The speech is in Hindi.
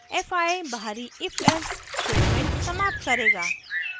fi बहरी ifelse statement समाप्त करेगा